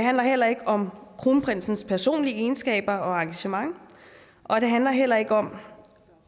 handler heller ikke om kronprinsens personlige egenskaber og engagement og det handler heller ikke om